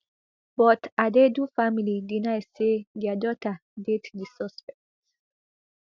but adaidu family deny say dia daughter date di suspect